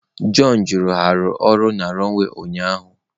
John jụrụ, Ha na-arụ ọrụ na runway ụnyaahụ?